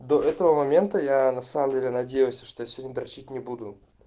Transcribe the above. до этого момента я на самом деле надеялся что я сегодня дрочить не буду